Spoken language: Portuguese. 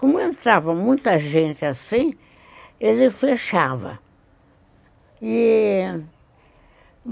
Como entrava muita gente assim, ele fechava.